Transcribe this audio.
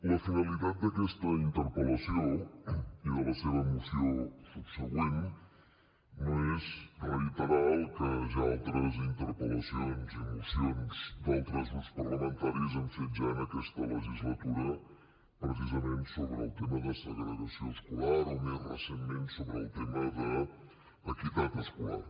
la finalitat d’aquesta interpel·lació i de la seva moció subsegüent no és reiterar el que ja altres interpel·lacions i mocions d’altres grups parlamentaris han fet ja en aquesta legislatura precisament sobre el tema de segregació escolar o més recentment sobre el tema d’equitat escolar